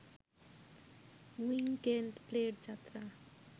weekend প্লে’র যাত্রা